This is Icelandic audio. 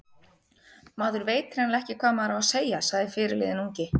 Maður veit hreinlega ekki hvað maður á að segja, sagði fyrirliðinn ungi.